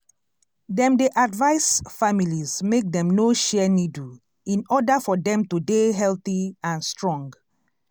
dem dey advice families make dem no share needle in order for dem to dey healthy and strong